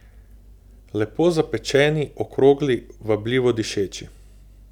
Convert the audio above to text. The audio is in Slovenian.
Lepo zapečeni, okrogli, vabljivo dišeči.